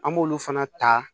An b'olu fana ta